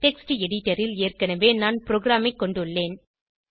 text editor ல் ஏற்கனவே நான் ப்ரோகிராமைக் கொண்டுள்ளேன்